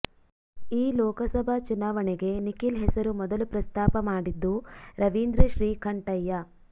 ಈ ಲೋಕಸಭಾ ಚುನಾವಣೆಗೆ ನಿಖಿಲ್ ಹೆಸರು ಮೊದಲು ಪ್ರಸ್ತಾಪ ಮಾಡಿದ್ದು ರವೀಂದ್ರ ಶ್ರೀ ಕಂಠಯ್ಯ